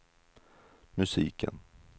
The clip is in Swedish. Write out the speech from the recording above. musiken